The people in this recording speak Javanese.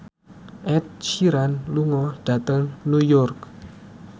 Ed Sheeran lunga dhateng New York